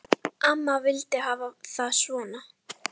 Ég át graflax um borð.